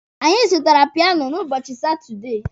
Anyị zụtara piano n'ubochi Satudee.